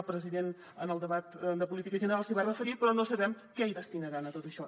el president en el debat de política general s’hi va referir però no sabem què hi destinaran a tot això